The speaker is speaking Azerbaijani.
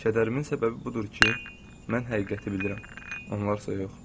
Kədərimin səbəbi budur ki, mən həqiqəti bilirəm, onlar isə yox.